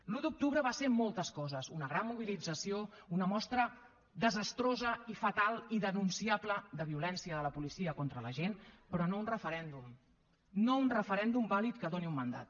l’un d’octubre va ser moltes coses una gran mobilització una mostra desastrosa i fatal i denunciable de violència de la policia contra la gent però no un referèndum no un referèndum vàlid que doni un mandat